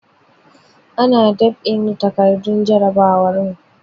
Ana dab'in takardun jarabawar mu.